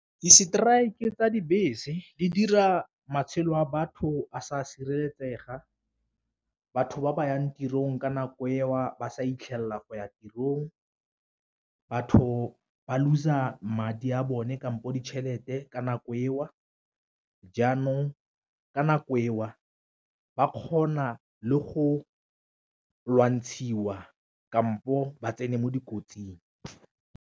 Di-strike tsa dibese di dira matshelo a batho a sa sireletsega, batho ba ba yang tirong ka nako eo ba sa itlhelela go ya tirong, batho ba lose-a madi a bone kampo ditšhelete ka nako eo, jaanong ka nako eo ba kgona le go lwantshiwa kampo ba tsene mo dikotsing.